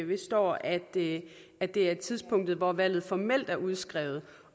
står at det er det er tidspunktet hvor valget formelt er udskrevet